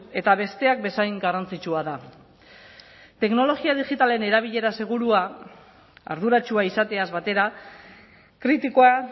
eta besteak bezain garrantzitsua da teknologia digitalen erabilera segurua arduratsua izateaz batera kritikoa